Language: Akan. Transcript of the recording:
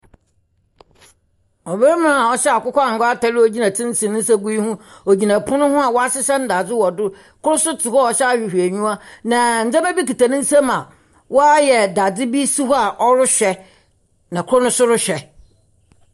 Ɔbarima a ɔhyɛ akokɔ angua atar a ogyina tsentsen ne nsa gu ne ho. Ogina pon ho a wɔahyehyɛ ndaadze wɔ do. Kor so tse hɔ a ɔhyɛ ahwehwɔnyiwa. Na ndzema bi kita ne nsa mu a ɔayɛ daadze bi si hɔ a ɔrehwɛ. Na kor nso rehwɛ.